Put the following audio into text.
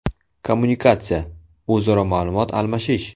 Kommunikatsiya - o‘zaro ma’lumot almashish.